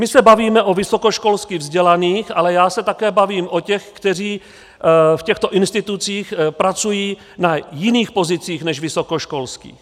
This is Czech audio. My se bavíme o vysokoškolsky vzdělaných, ale já se taky bavím o těch, kteří v těchto institucích pracují na jiných pozicích než vysokoškolských.